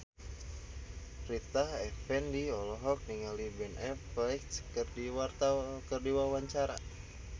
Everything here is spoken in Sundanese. Rita Effendy olohok ningali Ben Affleck keur diwawancara